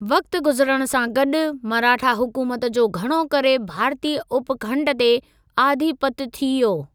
वक़्ति गुज़िरण सां गॾु, मराठा हुकुमत जो घणो करे भारतीय उपखंड ते आधिपत्य थी वियो।